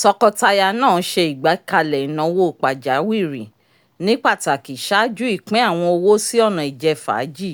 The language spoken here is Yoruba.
tọkọtaya náà ṣe igbekale ìnáwó pajawiri ní pàtàkì ṣáájú ìpín awọn owó si ọna ijẹfaaji